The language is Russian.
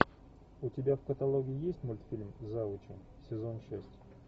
у тебя в каталоге есть мультфильм завучи сезон шесть